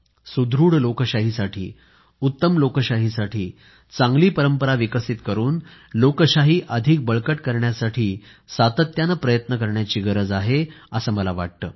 सुदृढ लोकशाहीसाठी उत्तम लोकशाहीसाठी चांगली परंपरा विकसित करून लोकशाही अधिक बळकट करण्यासाठी सातत्यानं प्रयत्न करण्याची गरज आहे असं मला वाटतं